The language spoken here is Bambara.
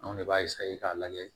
Anw de b'a k'a lajɛ